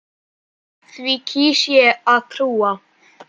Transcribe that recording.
Því kýs ég að trúa.